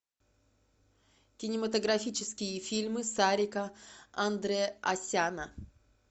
кинематографические фильмы сарика андреасяна